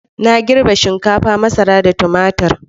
Na girbe shinkafa, masara da tumatir.